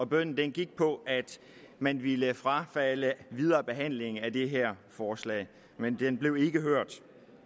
bønnen gik på at man ville frafalde videre behandling af det her forslag men den blev ikke hørt